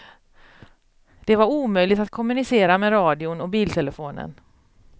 Det var omöjligt att kommunicera med radion och biltelefonen.